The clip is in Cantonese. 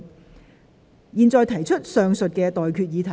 我現在向各位提出上述待決議題。